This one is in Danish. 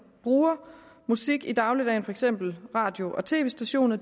bruger musik i dagligdagen for eksempel radio og tv stationer